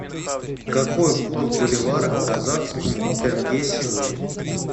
какой курс боливара к казахскому тенге сегодня